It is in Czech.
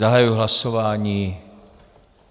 Zahajuji hlasování.